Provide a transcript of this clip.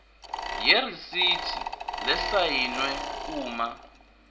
yeresithi lesayiniwe uma